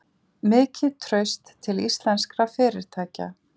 Mikið traust til íslenskra fyrirtækja